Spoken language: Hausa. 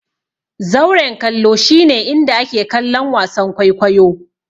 Zauren kallo shi ne inda ake kallon wasan kwaikwayo.